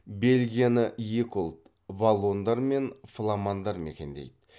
белгияны екі ұлт валлондар мен фламандар мекендейді